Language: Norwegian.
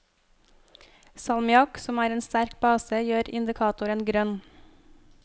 Salmiakk, som er en sterk base, gjør indikatoren grønn.